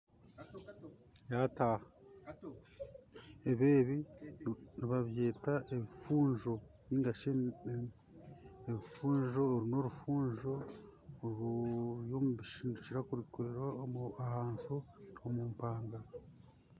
Ebi nibabyeta ebifunjo ebirikukira kumera ahansi omumpanga